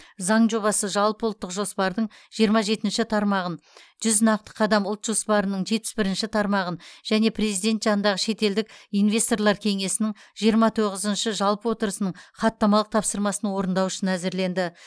заң жобасы жалпыұлттық жоспардың жиырма жетінші тармағын жүз нақты қадам ұлт жоспарының жетпіс бірінші тармағын және президент жанындағы шетелдік инвесторлар кеңесінің жиырма тоғызыншы жалпы отырысының хаттамалық тапсырмасын орындау үшін әзірленді